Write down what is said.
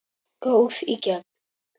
Góð í gegn.